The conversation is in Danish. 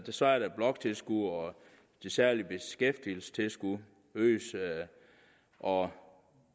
så er der bloktilskud og det særlige beskæftigelsestilskud øges og